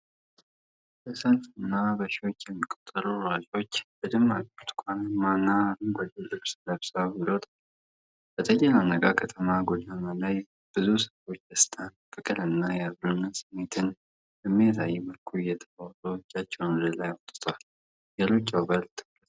በሰልፉ ላይ በሺዎች የሚቆጠሩ ሯጮች በደማቅ ብርቱካናማ እና አረንጓዴ ልብስ ለብሰው ይሮጣሉ። በተጨናነቀው ከተማ ጎዳና ላይ ብዙ ሰዎች ደስታን፣ ፍቅርን እና የአብሮነት ስሜትን በሚያሳይ መልኩ እየተሮጡ እጃቸውን ወደ ላይ አውጥተዋል። የሩጫው በር ትኩረት ስቧል።